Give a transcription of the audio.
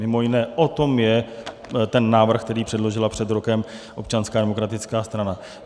Mimo jiné o tom je ten návrh, který předložila před rokem Občanská demokratická strana.